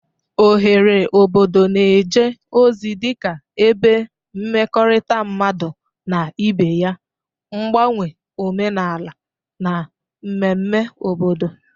Oghere obodo na-eje ozi dị ka ebe mmekọrịta mmadụ na ibe ya, mgbanwe omenala, na mmemme obodo.